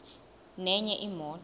nenye imoto